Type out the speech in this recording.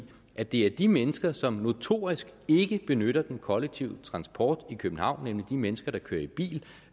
at det er de mennesker som notorisk ikke benytter den kollektive transport i københavn nemlig de mennesker der kører i bil